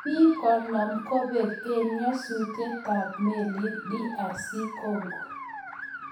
Bik 50 kobek eng ng'asutietab melit DR Congo